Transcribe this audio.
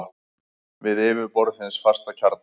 við yfirborð hins fasta kjarna.